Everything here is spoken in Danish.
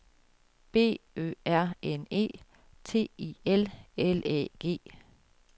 B Ø R N E T I L L Æ G